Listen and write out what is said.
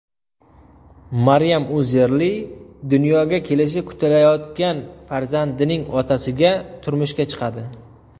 Maryam Uzerli dunyoga kelishi kutilayotgan farzandining otasiga turmushga chiqadi.